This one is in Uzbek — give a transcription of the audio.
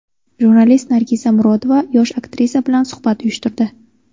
Jurnalist Nargiza Murodova yosh aktrisa bilan suhbat uyushtirdi.